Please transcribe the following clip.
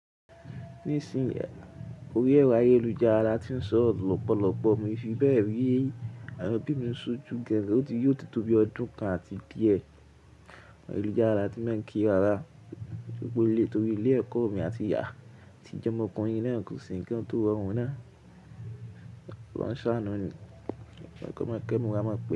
Nísìn, orí ẹ̀rọ ayélujára la tí n sọ̀rọ̀ lọ́pọ̀lọpọ̀ mi ò n fi bẹ́ẹ̀ rí àwọn ẹbí mi sójú gan, yó ti tó bí ọdún kan àti díẹ̀ ayélujára tí máa ń kí rárá torí pé orílẹ̀ torí ilé ẹ̀kọ́ mi àti ìyá àti jomọ́ ọkùnrin náà kò ṣe ńkan tó rọ̀run náà. Wáá ṣàánú ni, kò yẹ kó mọ kẹ́mi wá mọ̀ pé.